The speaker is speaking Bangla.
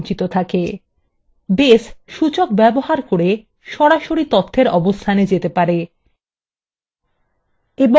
সুতরাং base সূচক ব্যবহার করে সরাসরি তথ্যর অবস্থানে যেতে পারে